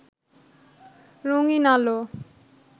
রঙিন্ আলো